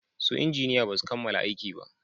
Su injiniya basu kammala aiki ba